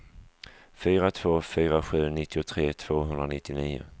fyra två fyra sju nittiotre tvåhundranittionio